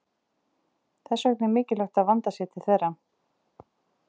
Þess vegna er mikilvægt að vandað sé til þeirra.